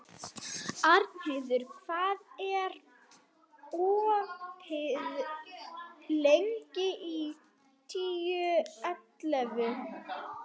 Arnheiður, hvað er opið lengi í Tíu ellefu?